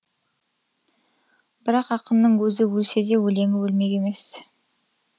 бірақ ақынның өзі өлседе өлеңі өлмек емес